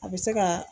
A bɛ se ka